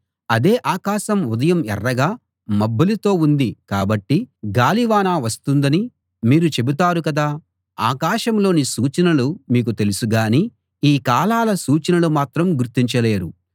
అదే ఆకాశం ఉదయం ఎర్రగా మబ్బులతో ఉంది కాబట్టి గాలివాన వస్తుందనీ మీరు చెబుతారు కదా ఆకాశంలోని సూచనలు మీకు తెలుసు గాని ఈ కాలాల సూచనలు మాత్రం గుర్తించలేరు